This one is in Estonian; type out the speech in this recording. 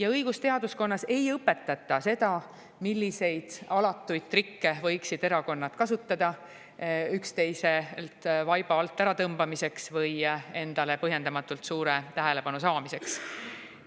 Ent õigusteaduskonnas ei õpetata seda, milliseid alatuid trikke võivad erakonnad kasutada üksteiselt vaiba alt ära tõmbamiseks või endale põhjendamatult suure tähelepanu saamiseks.